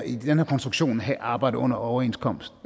i den her konstruktion skal have arbejde under overenskomst